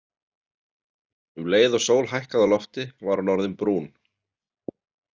Um leið og sól hækkaði á lofti var hún orðin brún.